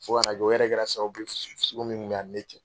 Fo ka na kɛ, o yɛrɛ kɛla sababu ye fusuku fusuku min kun bɛ a ni ne cɛ